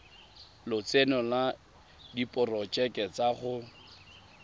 lotseno le diporojeke tsa go